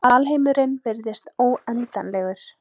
Alheimurinn virðist óendanlegur.